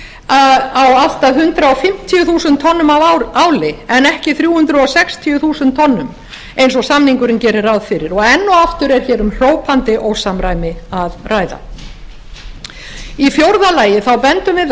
á allt að hundrað fimmtíu þúsund tonnum af áli en ekki þrjú hundruð sextíu þúsund tonnum eins og samningurinn gerir ráð fyrir og enn og aftur er hér um hrópandi ósamræmi að ræða í fjórða lagi bendum við